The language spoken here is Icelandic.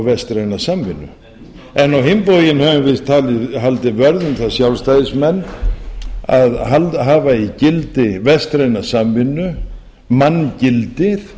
vestræna samvinnu á hinn bóginn höfum við haldið vörð um það sjálfstæðismenn að hafa í gildi vestræna samvinnu manngildið